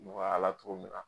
Nɔgɔyala togo min na